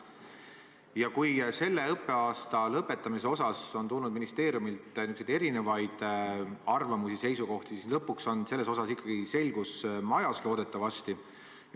Ja kuigi selle õppeaasta lõpetamise osas on tulnud ministeeriumilt erinevaid arvamusi-seisukohti, siis lõpuks on selles osas loodetavasti ikkagi selgus majas.